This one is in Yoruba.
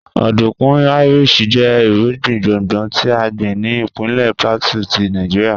Ọdunkun Irish jẹ irugbin gbongbo ti a gbin ni ipinlẹ Plateau ti Nigeria